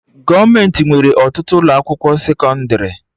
Gọọmenti nwere ọtụtụ ụlọ akwụkwọ sekọndrị